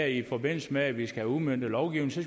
i forbindelse med at vi skal have udmøntet lovgivningen så